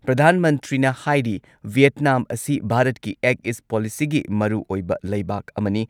ꯄ꯭ꯔꯙꯥꯟ ꯃꯟꯇ꯭ꯔꯤꯅ ꯍꯥꯏꯔꯤ ꯚꯤꯌꯦꯠꯅꯥꯝ ꯑꯁꯤ ꯚꯥꯔꯠꯀꯤ ꯑꯦꯛ ꯏꯁ ꯄꯣꯂꯤꯁꯤꯒꯤ ꯃꯔꯨꯑꯣꯏꯕ ꯂꯩꯕꯥꯛ ꯑꯃꯅꯤ ꯫